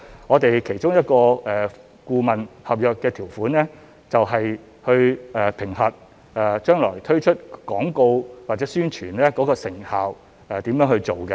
我們其中一份顧問合約的條款，就是去評核將來推出廣告或宣傳的成效、如何去做。